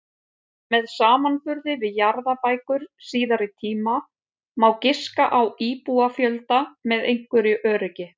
Með samanburði við jarðabækur síðari tíma má giska á íbúafjölda með einhverju öryggi.